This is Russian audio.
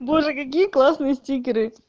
боже какие классные стикеры